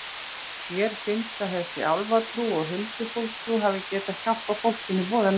Mér finnst að þessi álfatrú og huldufólkstrú hafi getað hjálpað fólkinu voða mikið.